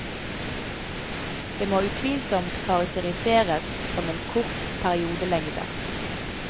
Det må utvilsomt karakteriseres som en kort periodelengde.